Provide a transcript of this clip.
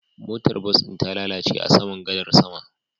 Motar bas ɗin ta lalace a saman gadar sama